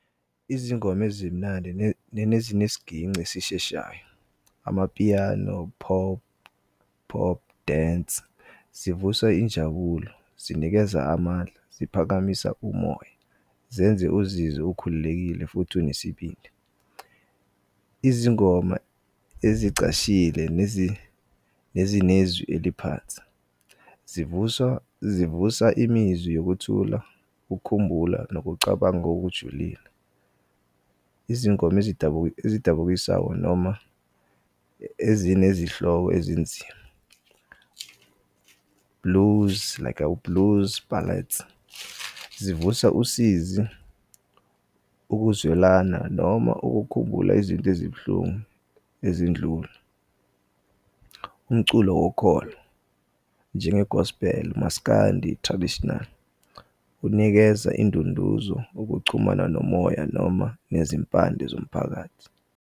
Izingoma ezimnandi nezin'siginci esisheshayo, amapiyano, pop, pop dance, zivusa injabulo, zinikeza amandla, ziphakamisa umoya zenze uzizwe ukhululekile futhi unesibindi. Izingoma ezicashile nezinezwi eliphansi zivusa imizwa yokuthula, ukukhumbula nokucabanga okujulile. Izingoma ezidukisayo noma ezinezihloko ezinzima blues like blues ballads zivusa usizi ukuzwelana noma ukukhumbula izinto ezibuhlungu ezindlule. Umculo wokholo njenge-gospel, maskandi traditional, unikeza indunduzo ukuchumana nomoya noma nezimpande zomphakathi.